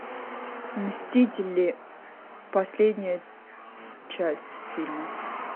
мстители последняя часть фильма